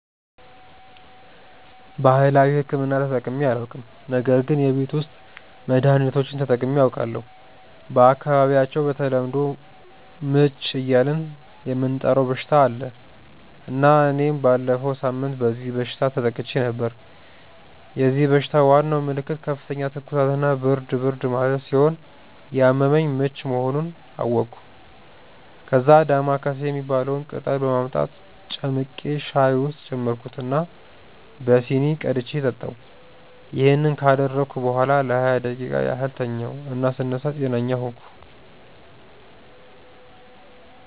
ባህላዊ ሕክምና ተጠቅሜ አላውቅም ነገር ግን የቤት ውስጥ መድሀኒቶችን ተጠቅሜ አውቃለሁ። በአካባቢያቸው በተለምዶ "ምች" እያልን የምንጠራው በሽታ አለ እና እኔም ባለፈው ሳምንት በዚህ በሽታ ተጠቅቼ ነበር። የዚህ በሽታ ዋናው ምልክት ከፍተኛ ትኩሳት እና ብርድ ብርድ ማለት ስለሆነ ያመመኝ ምች መሆኑን አወቅኩ። ከዛ "ዳማከሴ" የሚባለውን ቅጠል በማምጣት ጨምቄ ሻይ ውስጥ ጨመርኩት እና በሲኒ ቀድቼ ጠጣሁ። ይሄን ካደረግኩ በኋላ ለሃያ ደቂቃ ያህል ተኛሁ እና ስነሳ ጤነኛ ሆንኩ።